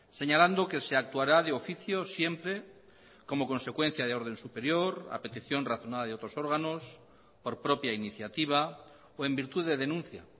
señalando que se actuará de oficio siempre como consecuencia de orden superior a petición razonada de otros órganos por propia iniciativa o en virtud de denuncia